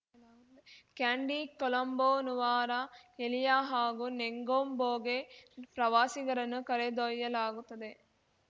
candy Colombo Nuwara Eliya ಹಾಗೂ ನೆಂಗೊಂಬೋಗೆ ಪ್ರವಾಸಿಗರನ್ನು ಕರೆದೊಯ್ಯಲಾಗುತ್ತದೆ